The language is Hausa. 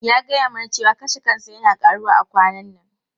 Ya gaya mana cewa kashe kansa yana karuwa a kwanan nan.